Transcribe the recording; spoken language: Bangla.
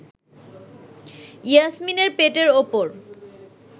ইয়াসমিনের পেটের ওপর